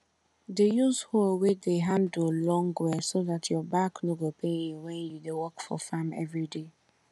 dey use hoe wey de handle long well so dat your back no go pain you wen u dey work for farm everyday